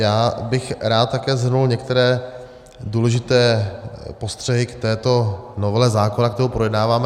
Já bych také rád shrnul některé důležité postřehy k této novele zákona, kterou projednáváme.